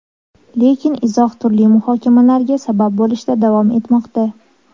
Lekin izoh turli muhokamalarga sabab bo‘lishda davom etmoqda.